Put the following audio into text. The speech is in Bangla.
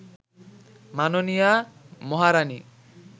মাননীয়া মহারাণী